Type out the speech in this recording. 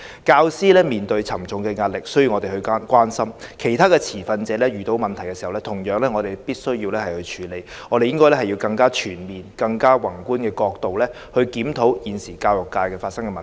教師面對沉重的壓力，需要我們關心，其他持份者遇到的問題，同樣需要我們處理，我們應用更全面和宏觀的角度，檢討現時教育界發生的問題。